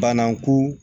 Banaku